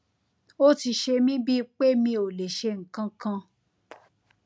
ó ti ṣe mí bíi pé mi ò lè ṣe nǹkan kan